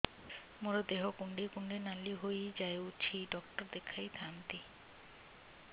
ମୋର ଦେହ କୁଣ୍ଡେଇ କୁଣ୍ଡେଇ ନାଲି ହୋଇଯାଉଛି ଡକ୍ଟର ଦେଖାଇ ଥାଆନ୍ତି